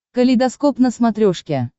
калейдоскоп на смотрешке